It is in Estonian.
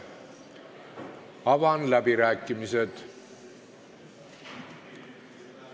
Avan läbirääkimised.